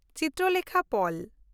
ᱪᱤᱛᱨᱚᱞᱮᱠᱷᱟ ᱯᱚᱞ